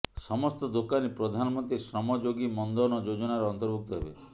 ସମସ୍ତ ଦୋକାନୀ ପ୍ରଧାନମନ୍ତ୍ରୀ ଶ୍ରମ ୟୋଗୀ ମନ୍ଧନ ଯୋଜନାର ଅନ୍ତର୍ଭୁକ୍ତ ହେବେ